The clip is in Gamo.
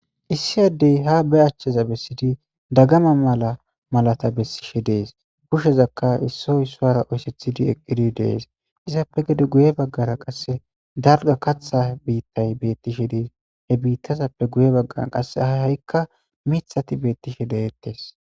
issi addey ha be achchaza bessidi dagama mala malata bessishe dees kushezakka issoy isuara oyssethidi eqqidi dees izappe gede guye baggara qasse dalga katha biittay beettishe dees he biittazappe guye baggara qasse a ha7ikka mithati beettishe deyettes